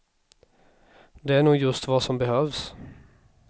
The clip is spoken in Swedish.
Det är nog just vad som behövs.